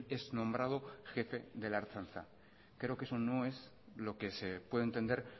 es nombrado jefe de la ertzaintza creo que eso no es lo que se puede entender